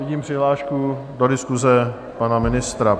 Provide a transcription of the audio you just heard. Vidím přihlášku do diskuse pana ministra.